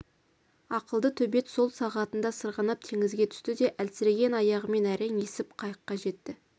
ақылды төбет сол сағатында сырғанап теңізге түсті де әлсіреген аяғымен әрең есіп қайыққа жетті